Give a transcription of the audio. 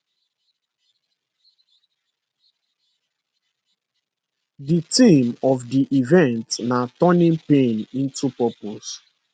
di theme of di event na turning pain into purpose